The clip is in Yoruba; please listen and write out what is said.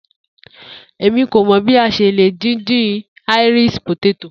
Emi ko mọ bi a ṣe le din-din Irish poteto